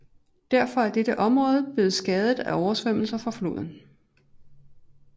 Derfor er dette område ofte blevet skadet af oversvømmelser fra floden